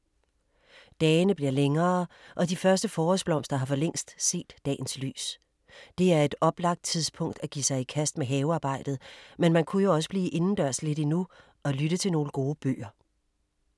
Dagene bliver længere og de første forårsblomster har for længst set dagens lys. Det er et oplagt tidspunkt at give sig i kast med havearbejdet, men man kunne jo også blive indendørs lidt endnu og lytte til nogle gode bøger.